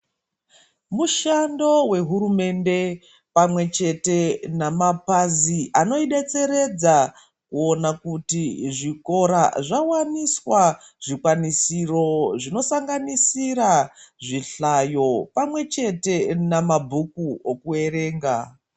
Mushando wehurumende pamwechete namapazi anoidetseredza kuona kuti zvikora zvawaniswa zvikwanisiro zvinosanganisira zvihlayo pamwechete namabhuku okuwerenga.